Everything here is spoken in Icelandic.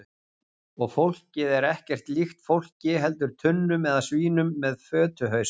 Og fólkið er ekkert líkt fólki heldur tunnum eða svínum með fötuhausa.